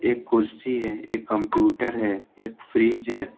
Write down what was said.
एक कुर्सी है एक कंप्यूटर है एक फ्रिज है।